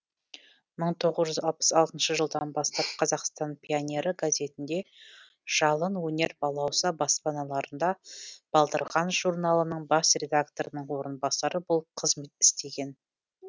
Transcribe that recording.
мың тоғыз жүз алпыс алтыншы жылдан бастап қазақстан пионері газетінде жалын өнер балауса баспаналарында балдырған журналының бас редакторының орынбасары болып қызмет істеген